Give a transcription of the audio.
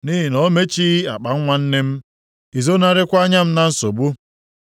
nʼihi na o mechighị akpanwa nne m, i zonarịkwa anya m nsogbu.